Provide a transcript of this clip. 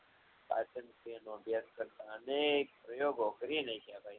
અને અભ્યાસ કરતાં અનેક પ્રયોગો કરીને